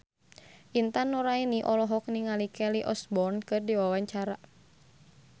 Intan Nuraini olohok ningali Kelly Osbourne keur diwawancara